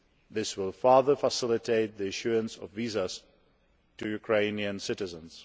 This will further facilitate the issuance of visas to Ukrainian citizens.